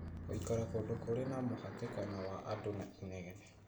Gũikara kũndũ kũrĩ na mũhatĩkano wa andũ na inegene